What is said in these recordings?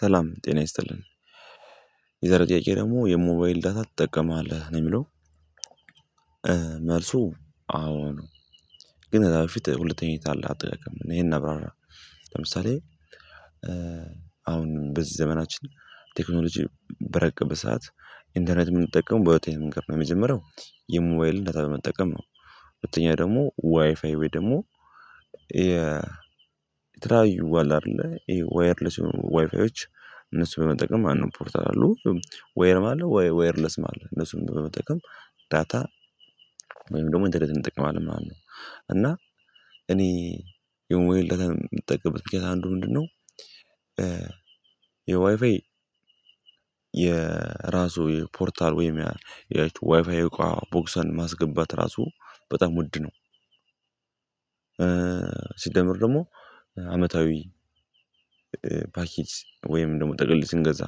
ሰላም ጤና ይስጥልን የዛሬው ጥያቄ ደግሞ የሞባይል ዳታ ትጠቀማለህ ነው? የሚለው መልሱ አዎ ነው ግን እዛ በፊት ሁለተኛዬን አለ አጠየቀም ይሄን አብራራ ለምሳሌ አሁን በዚህ ዘመናችን ቴክኖሎጂ በረቁበት ሰዓት ኢንተርኔት የምንጠቀመው በወቴን ምንገር ነው የመጀመሪያው የሞባይል እንደታለ መጠቀም ነው ሁለተኛ ደግሞ ዋይፋይ ወይ ደግሞ የተለያዩ አለ አይደለ ይሄ ዋየርለስ የሆኑ ዋይፋዮች እነሱ በመጠቀም አንድ ፖርታል አለው ዋየርለስ ማለት ነው እነሱን በመጠቀም ዳታ ወይም ደግሞ እንደደለት እንጠቅማለን ማለት ነው እና እኔ የሞባይል ዳታ የምጠቀምበት ጊዜ አንዱ ምንድነው የዋይፋይ የራሱ የፖርታል ወይም ያቺ ዋይፋይ ቦክሰን ማስገባት ራሱ በጣም ውድ ነው ሲደመር ደግሞ አመታዊ ፓኬጅ ወይም ደግሞ ጥቅል ስንገዛ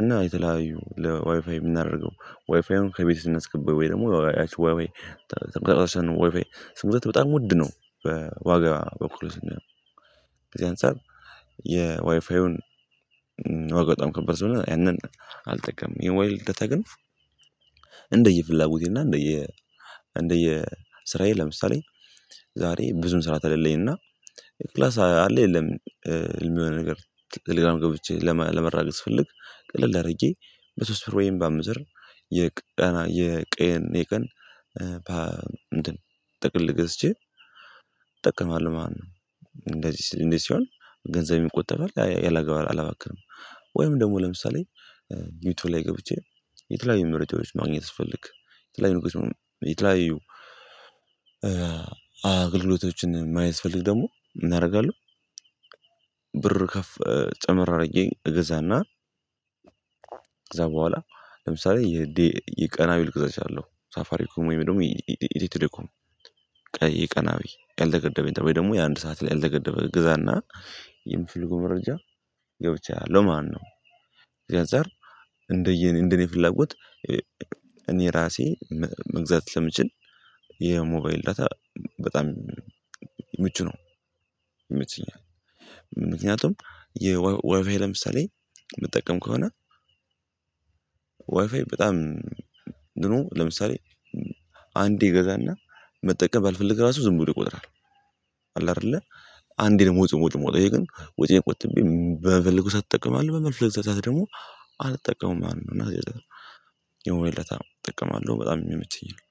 እና የተለያዩ ለዋይፋይ የምናደርገው ዋይፋይን ከቤት እና አስገባኝ ወይ ደግሞ ያቺ ወይ ስንት በጣም ውድ ነው በዋጋ በኩል እና ከዚህ አንፃር የዋይፋዩን ዋጋ በጣም ከባድ ስለሆነ ያንን አልጠቀምም የሞባይል ዳታ ግን እንደየፍላጎቴና እንደየ እንደየ ስራዬ ለምሳሌ ዛሬ ብዙም ስራ ተለለኝና ክላስ አለ የለም የሚሆነው ነገር ሌላም ገብቼ ለመራገጥ ስፈልግ ቀለል አድርጌ በሶስት ብር ወይም በአምስት ብር የቀን የቀን የቀን ፓፓ ጥቅል ገዝቼ ጠቅሟል ማን ነው እንደዚህ ሲሆን ገንዘብ ይቆጠራል አላባክርም ወይም ደግሞ ለምሳሌ ዩቲዩብ ላይ ገብቼ የተለያዩ ምርጫዎች ማግኘት ስፈልግ የተለያዩ አገልግሎቶችን የማይስፈልግ ደግሞ እናደርጋለሁ ብር ከፍ ጨመር አድርጌ እገዛና ከዛ በኋላ ለምሳሌ የቀና ቢል እገዛችኋለሁ ሳፋሪ ወይም ደግሞ ኢትዮጵያ እኮ ቀናዊ ቀለተ ገደበኝ ደግሞ የአንድ ሰዓት ላይ አልተገደበ ግዛና የምፈልገው መረጃ ገብቻለሁ ማነው እዚህ አንፃር እንደየኔ እንደኔ ፍላጎት እኔ ራሴ መግዛት ስለምችል የሞባይል በጣም ምቹ ነው ይመቸኛል ምክንያቱም የወበይ ለምሳሌ የምጠቀም ከሆነ ዋይፋይ በጣም ኑኖ ለምሳሌ አንዴ ገዛና መጠቀም ባልፈልግ ራሱ ዝም ብሎ ይቆጥራል አይደለ አንዴ ነው ሞጽ ሞጽ ሞጽ ግን ውጪ የቆጠብኩት በበልኩ ሰዓት ትጠቀማለህ በበልኩ ሰዓት ደግሞ አልተጠቀሙም እና የሞባል ዳታ ጠቀማለሁ በጣም የሚመቸኝ ነው